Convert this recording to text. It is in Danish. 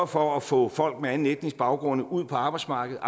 for at få folk med anden etnisk baggrund ud på arbejdsmarkedet